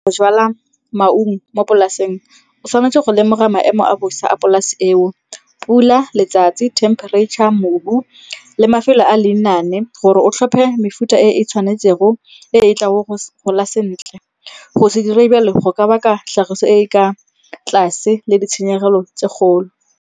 Go jala maungo mo polaseng o tshwanetse go lemoga maemo a bosa a polase eo, pula, letsatsi, themperatšha, mobu le mafelo a lenane gore o tlhophe mefuta e e tshwanetsego e e tlang go gola sentle. Go se dire jalo go ka baka tlhagiso e e ka tlase le ditshenyegelo tse kgolo.